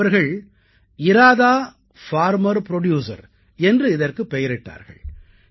அவர்கள் Radha farmer producer என்று இதற்குப் பெயரிட்டார்கள்